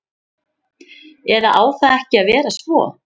Eða á það ekki að vera svo?